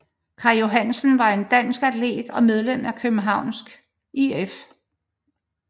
Kaj Johansen var en dansk atlet og medlem af Københavns IF